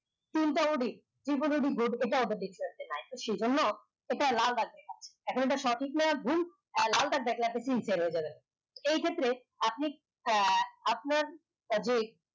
তিন টা সে জন্য এটা লাল বাগে এখন এটা সঠিক না ভুল লা দাগ এই ক্ষেত্রে আপনি আহ আপনার